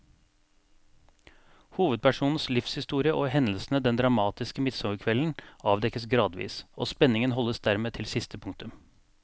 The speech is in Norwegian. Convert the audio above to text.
Hovedpersonens livshistorie og hendelsene den dramatiske midtsommerkvelden avdekkes gradvis, og spenningen holdes dermed til siste punktum.